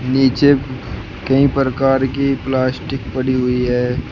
नीचे कई प्रकार की प्लास्टिक पड़ी हुई है।